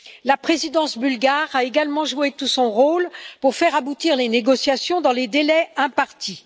La présidence bulgare a également joué tout son rôle pour faire aboutir les négociations dans les délais impartis.